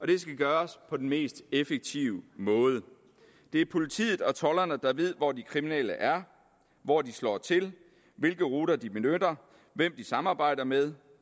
det skal gøres på den mest effektive måde det er politiet og tolderne der ved hvor de kriminelle er hvor de slår til hvilke ruter de benytter hvem de samarbejder med